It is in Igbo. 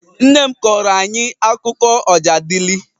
Nne m kọọrọ anyị akụkọ Ọjadịlị